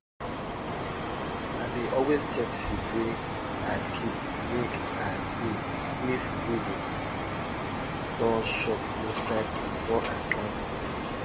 i dey always check seed wey i keep make i see if weevil don chop inside before i plant dem